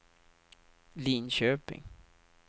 Linköping